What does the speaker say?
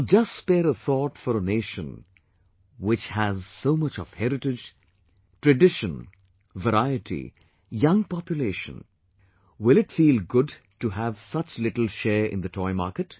Now, just spare a thought for a nation which has so much of heritage, tradition, variety, young population, will it feel good to have such little share in the toy market